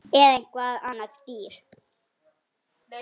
Eða eitthvað annað dýr